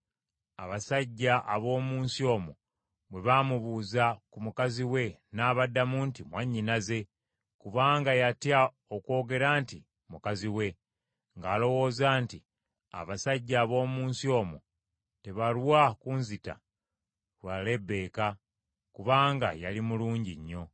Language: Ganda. abasajja ab’omu nsi omwo bwe baamubuuza ku mukazi we n’abaddamu nti, “Mwannyinaze.” Kubanga yatya okwogera nti, “Mukazi wange,” ng’alowooza nti, “Abasajja ab’omu nsi omwo tebalwa kunzita lwa Lebbeeka,” kubanga yali mulungi nnyo.